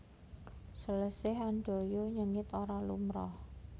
Salese Handoyo nyengit ora lumrah